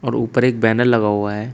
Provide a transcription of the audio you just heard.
और ऊपर एक बैनर लगा हुआ है।